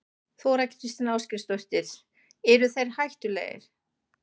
Þóra Kristín Ásgeirsdóttir: Eru þeir hættulegir?